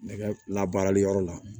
Nɛgɛ la baarali yɔrɔ la